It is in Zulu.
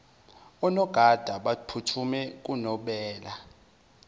onogada baphuthume kunobela